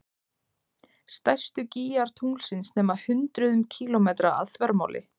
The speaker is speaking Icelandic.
Stærstu gígar tunglsins nema hundruðum kílómetra að þvermáli.